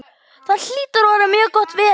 Það hlýtur að vera mjög gott veður.